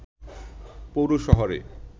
পৌর শহরে